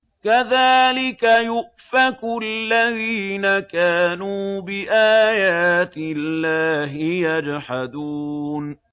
كَذَٰلِكَ يُؤْفَكُ الَّذِينَ كَانُوا بِآيَاتِ اللَّهِ يَجْحَدُونَ